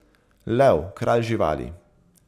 Lev, kralj živali.